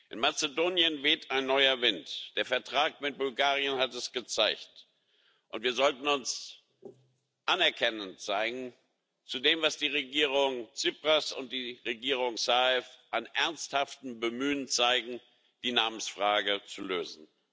In Mazedonien weht ein neuer Wind der Vertrag mit Bulgarien hat es gezeigt und wir sollten uns anerkennend zeigen gegenüber dem, was die Regierung Tsipras und die Regierung Zaev an ernsthaftem Bemühen zeigen, um die Namensfrage zu lösen.